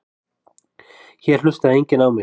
Hér hlustaði enginn á mig.